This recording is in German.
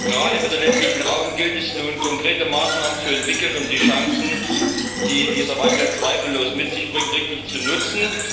Gerade für den ländlichen Raum gilt es nun, konkrete Maßnahmen zu entwickeln, um die Chancen, die dieser Wandel zweifellos mit sich bringt, richtig zu nutzen.